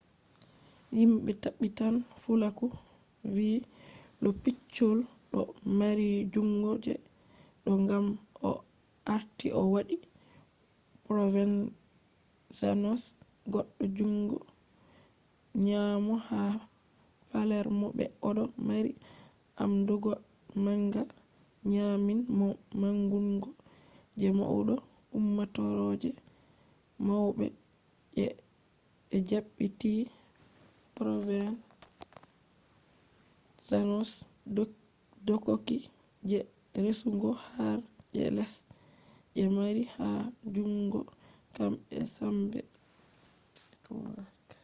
himbe tabbitan fulaku vi lo piccolo do mari jungo je do gam o arti o wadi provenzano’s goddo jungo nyamo ha palermo be odo mari amdugo manga nyamin mo mangungo je maudo ummatore je maube je be dabbiti provenzano’s dokoki je resugo har je less je mari ha jutungo kambe sambe network